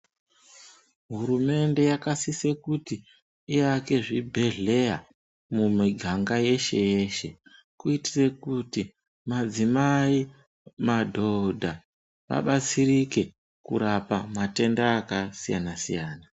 Hurumende yakasise kuti iyake zvibhedhleya mumiganga yeshe yeshe kuitire kuti madzimai madhodha abatsirike kurapa matenda akasiyana siyana.